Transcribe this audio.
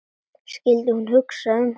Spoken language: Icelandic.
Skyldi hún hugsa um hann?